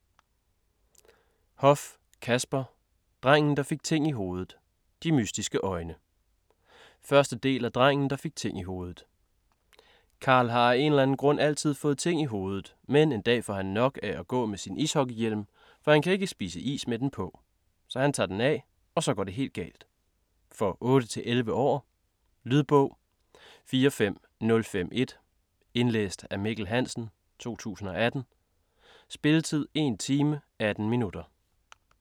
Hoff, Kasper: Drengen der fik ting i hovedet - "de mystiske øjne" 1. del af Drengen der fik ting i hovedet. Karl har af en eller anden grund altid fået ting i hovedet, men en dag får han nok af at gå med sin ishockeyhjelm, for han kan ikke spise is med den på. Så han tager den af, og så går det hele galt. For 8-11 år. Lydbog 45051 Indlæst af Mikkel Hansen, 2018. Spilletid: 1 time, 18 minutter.